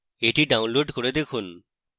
এটি download করে দেখুন